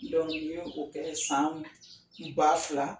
n ye o kɛ san ba fila